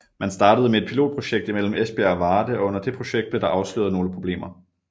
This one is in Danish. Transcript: Man startede med et pilotprojekt imellem Esbjerg og Varde og under det projekt blev der afsløret nogle problemer